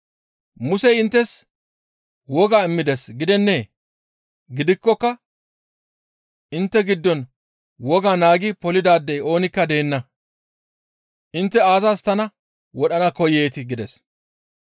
Musey inttes woga immides gidennee? Gidikkoka intte giddon woga naagi polidaadey oonikka deenna. Intte aazas tana wodhana koyeetii?» gides.